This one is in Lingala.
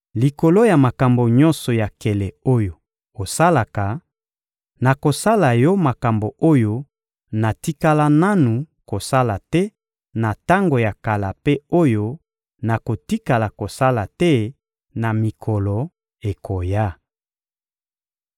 Likolo ya makambo nyonso ya nkele oyo osalaka, nakosala yo makambo oyo natikala nanu kosala te na tango ya kala mpe oyo nakotikala kosala te na mikolo ekoya.›